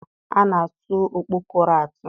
A na-atụ ọkpọkọrọ atụ.